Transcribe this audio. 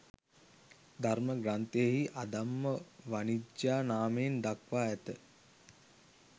ධර්ම ග්‍රන්ථයෙහි අධම්ම වණිජ්ජා නාමයෙන් දක්වා ඇත.